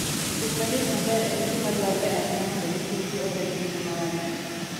Piny maliet maber en gima dwarore ahinya mondo nyithindgi obed gi ngima maber.